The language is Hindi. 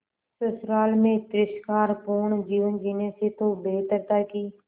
ससुराल में तिरस्कार पूर्ण जीवन जीने से तो बेहतर था कि